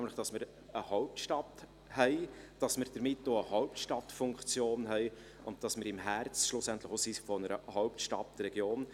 Wir haben die Hauptstadt und damit eine Hauptstadtfunktion und befinden uns im Herzen der Hauptstadtregion.